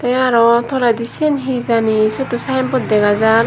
tey araw toledi siyen hijani syoto synbot dega jar.